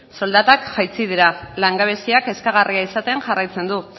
soldatak jaitsi dira langabezia kezkagarria izaten jarraitzen du